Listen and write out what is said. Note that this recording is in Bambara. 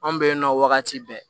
An bɛ yen nɔ wagati bɛɛ